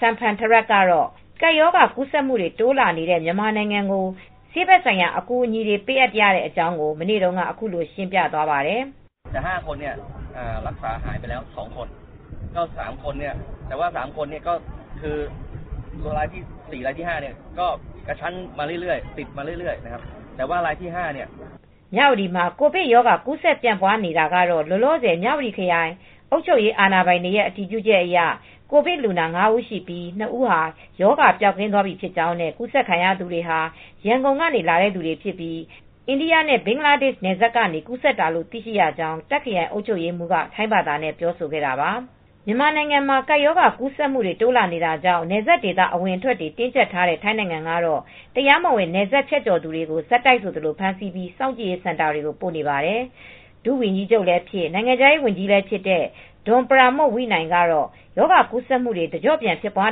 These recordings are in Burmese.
Samphantharat ကတော့ ကပ်ရောဂါ ကူးစက်မှုတွေ တိုးလာနေတဲ့ မြန်မာနိုင်ငံကို ဆေးဘက်ဆိုင်ရာ အကူအညီတွေ ပေးအပ်ရတဲ့အကြောင်းကို မနေ့တုန်းက အခုလို ရှင်းပြသွားပါတယ်။ မြဝတီမှာ ကိုဗစ်ရောဂါကူးဆက်ပြန့်ပွားနေတဲ့ နေတာကတော့ လောလောဆယ် မြဝတီအုပ်ချုပ်ရေးအာဏာပိုင်တွေရဲ့ အတည်ပြုချက်အရ ကိုဗစ်လူနာ ငါး ဦးရှိပြီး နှစ်ဦးဟာ ရောဂါပျောက်ကင်းသွားပြီ ဖြစ်ကြောင်းနဲ့ ကူးစက်ခံရသူတွေဟာ ရန်ကုန်ကနေ လာတဲ့သူတွေဖြစ်ပြီး အိန္ဒိယနဲ့ ဘင်္ဂလားဒေ့ရှ်နယ်စပ်က ကူးစက်တာလို့ သိရှိရကြောင်း တာ့ခ်ခရိုင်အုပ်ချုပ်ရေးမှူးက ထိုင်းဘာသာနဲ့ ပြောဆိုခဲ့တာပါ။ မြန်မာနိုင်ငံမှာ ကပ်ရောဂါ ကူးစက်မှုတွေ တိုးလာနေတာကြောင့် နယ်စပ်ဒေသ အဝင်အထွက်တွေ တင်းကြပ်ထားတဲ့ ထိုင်းနိုငံကတော့ တရားမဝင် နယ်စပ်ဖြတ်ကျော်သူတွေကို ဆက်တိုက်ဆိုသလို ဖမ်းဆီးပြီး စောင့်ကြည့်ရေးစင်တာတွေကို ပို့နေပါတယ်။ ထိုင်း ဒုဝန်ကြီးချုပ်လည်းဖြစ်၊ နိုင်ငံခြားရေးဝန်ကြီးလည်းဖြစ်တဲ့ Don Pramudwinai က ရောဂါကူးစက်မှုတွေ တကျော့ပြန် ဖြစ်ပွား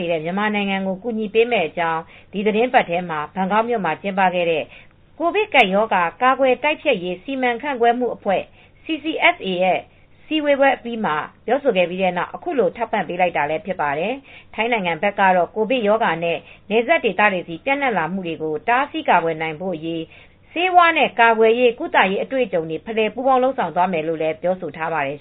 နေတဲ့ မြန်မာနိုင်ငံကို ကူညီမယ့်အကြောင်း ဒီသီတင်းပတ်ထဲ ဘန်ကောက်မြို့မှာ ကျင်းပခဲ့တဲ့ ကိုဗစ်ကပ်ရောဂါ ကာကွယ်တိုက်ဖျက်ရေး စီမံခန့်ခွဲမှုအဖွဲ့ အစည်းအဝေးအပြီးမှာ ပြောဆိုခဲ့ပြီးနောက် အခုလို ထောက်ပံ့လိုက်တာလည်း ဖြစ်ပါတယ်။ ထိုင်းနိုင်ငံဘက်ကတော့ ကိုဗစ်ရောဂါ နယ်စပ်ဒေသတွေဆီ ပျံ့နှံ့လာနေမှုကို တားဆီးကာကွယ်နိုင်ဖို့အရေး ဆေးဝါးနဲ့ ကာကွယ်ရေး ကုသရေး အတွေ့အကြုံတွေ ဖလှယ် ပူးပေါင်းလုပ်ဆောင်သွားမယ်လို့လည်း ပြောဆိုထားပါတယ်